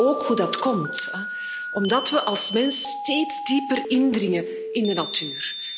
We weten ook hoe dat komt omdat we als mens steeds dieper indringen in de natuur.